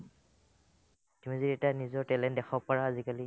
এতিয়া নিজৰ talent দেখাব পাৰা আজিকালি